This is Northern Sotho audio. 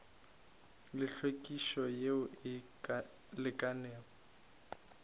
le hlwekišo yeo e lekanego